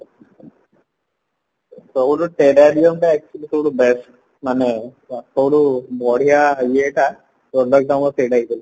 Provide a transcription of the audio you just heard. ସବୁଠୁ Terrarium ଟା actually ସବୁଠୁ best ମାନେ ସବୁଠୁ ବଢିଆ ଇଏଟା product ଆମର ସେଇଟା ହିଁ ଥିଲା